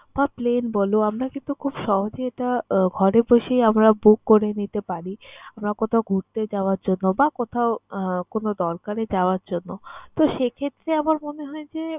বা plain বলো আমরা কিন্তু খুব সহজেই এটা আহ ঘরে বসেই আমরা book করে নিতে পারি আমরা কোথাও ঘুরতে যাওয়ার জন্য বা কোথাও আহ কোন দরকারে যাওয়ার জন্য। তো, সেক্ষেত্রে আমার মনে হয় যে